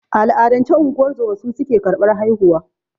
A al'adance, unguwar zoma su suke karɓar haihuwa.